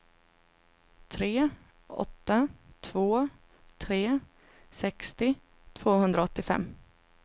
tre åtta två tre sextio tvåhundraåttiofem